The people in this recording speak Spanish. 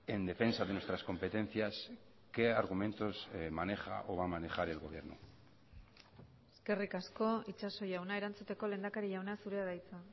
en defensa de nuestras competencias qué argumentos maneja o va a manejar el gobierno eskerrik asko itxaso jauna erantzuteko lehendakari jauna zurea da hitza